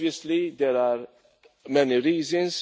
Obviously there are many reasons